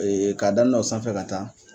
k'a damina o sanfɛ ka taa